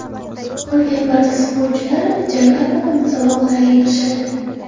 Qolgan barcha sportchilar Jakartada musobaqalarga kirishadi.